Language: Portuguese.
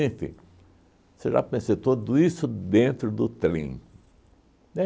você já pensou, tudo isso dentro do trem.